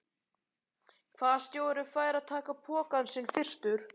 Hvaða stjóri fær að taka pokann sinn fyrstur?